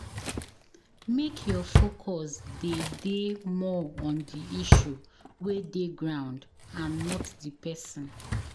Make your focus dey dey more on the issue wey dey ground and not di person